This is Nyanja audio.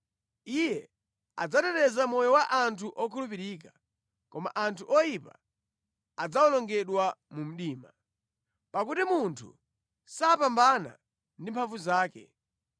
Iye adzateteza moyo wa anthu okhulupirika koma anthu oyipa adzawonongedwa mu mdima. “Pakuti munthu sapambana ndi mphamvu zake.